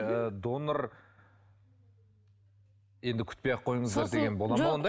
ы донор енді күтпей ақ қойыңыздар деген бола ма ондай